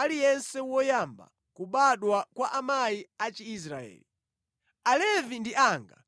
aliyense woyamba kubadwa kwa amayi a Chiisraeli. Alevi ndi anga,